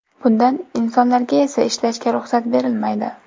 Bundan insonlarga esa ishlashga ruxsat berilmaydi.